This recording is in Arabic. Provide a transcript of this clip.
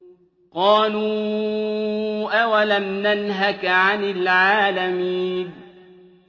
قَالُوا أَوَلَمْ نَنْهَكَ عَنِ الْعَالَمِينَ